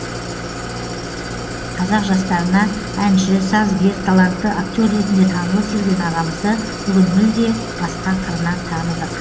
қазақ жастарына әнші сазгер талантты актер ретінде танылып жүрген ағамызды бүгін мүлде басқа қырынан таныдық